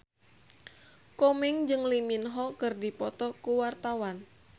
Komeng jeung Lee Min Ho keur dipoto ku wartawan